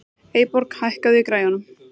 Eyborg, hækkaðu í græjunum.